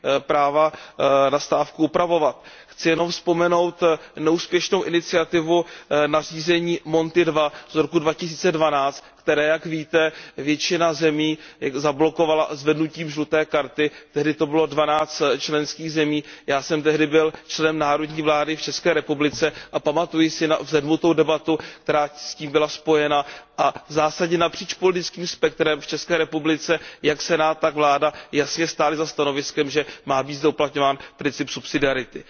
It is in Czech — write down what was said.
práva na stávku upravovat. Chci jenom vzpomenout neúspěšnou iniciativu nařízení Monti II z roku 2012, které, jak víte, většina zemí zablokovala zvednutím žluté karty, tehdy to bylo 12 členských zemi, já jsem tehdy byl členem národní vlády v České republice a pamatuji si na vzedmutou debatu, která s tím byla spojena a v zásadě napříč politickým spektrem v České republice jak Senát, tak vláda jasně stály za stanoviskem, že má být zde uplatňován princip subsidiarity.